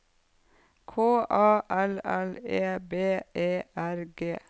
K A L L E B E R G